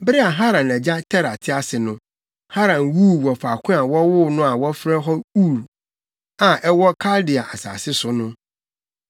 Bere a Haran agya Tera te ase no, Haran wuu wɔ faako a wɔwoo no a wɔfrɛ hɔ Ur, a ɛwɔ Kaldea asase so no.